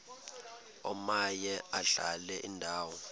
omaye adlale indawo